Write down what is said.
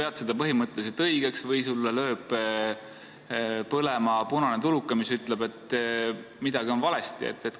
Kas sa pead seda põhimõtteliselt õigeks või sul lööb põlema punane tuluke, mis ütleb, et midagi on valesti?